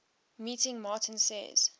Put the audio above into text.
meeting martin says